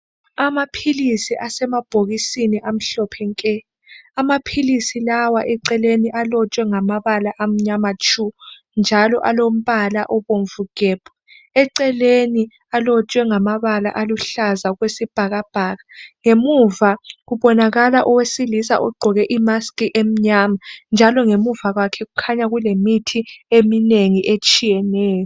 Amaphilisi asemabhokisini amhlophe nke Amaphilisi lawa eceleni alotshwe ngamabala amnyama tshu njalo alombala obomvu gebhu. Eceleni alotshwe ngamabala aluhlaza okwesibhakabhaka. Ngemuva kubonakala owesilisa ogqoke I mask emnyama ,njalo ngemuva kwakhe kukhanya kulemithi eminengi etshiyeneyo